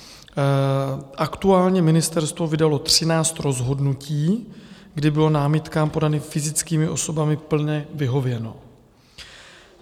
Aktuálně ministerstvo vydalo 13 rozhodnutí, kdy bylo námitkám podaným fyzickými osobami plně vyhověno.